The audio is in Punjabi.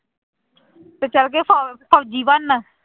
ਤੇ ਚਲੇ ਗਏ ਫ਼ੋ ਫ਼ੋਜ਼ੀ ਬਣਨ।